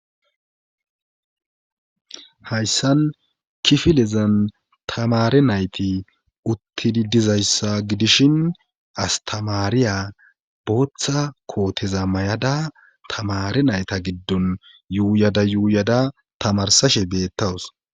hayssan kifilezan tamare nayti uttidi dizayssa gidishin astamaariya booththa kooteza may7ada tamare nayta giddon yuuyada yuuyada tamarsashe beettawus